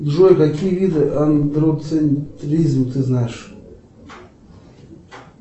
джой какие виды андроцентризм ты знаешь